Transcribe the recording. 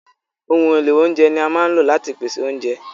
Ohun èlò oúnjẹ ni a máa ń lò láti pèsè oúnjẹ.